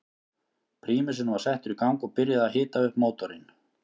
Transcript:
Prímusinn var settur í gang og byrjað að hita upp mótorinn.